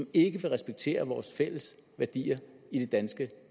ikke vil respektere vores fælles værdier i det danske